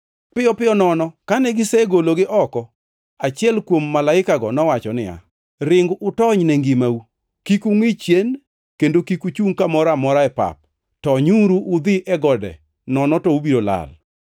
Piyo piyo nono kane gisegologi oko, achiel kuom malaikago nowacho niya, “Ring utony ne ngimau! Kik ungʼi chien, kendo kik uchung kamoro amora e pap; tonyuru udhi e gode nono, to ubiro lal!”